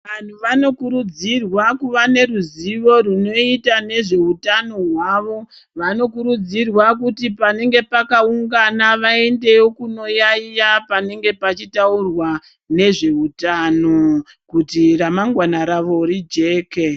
Vanhu vanokurudzirwa kuva neruzivo runoita nezveutano hwavo, vanokurudzirwa kuti panenge pakaungana vaendewo kunoyaiya panenge pachitaurwa nezveutano kuti ramangwana rawo rijeke.